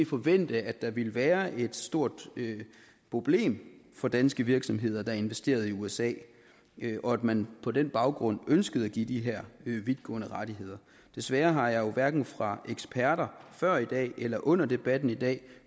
forvente at der ville være et stort problem for danske virksomheder der har investeret i usa og at man på den baggrund ønskede at give de her vidtgående rettigheder desværre har jeg jo hverken fra eksperter før i dag eller under debatten i dag